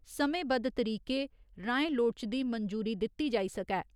समें बद्ध तरीकें राएं लोड़चदी मंजूरी दित्ती जाई सकै।